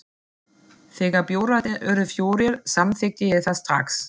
Þegar bjórarnir urðu fjórir, samþykkti ég það strax.